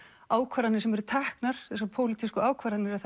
ákvarðanir sem eru teknar þessar pólitískur ákvarðanir að